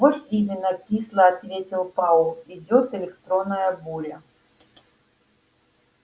вот именно кисло ответил пауэлл идёт электронная буря